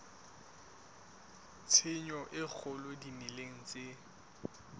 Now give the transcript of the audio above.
tshenyo e kgolo dimeleng tse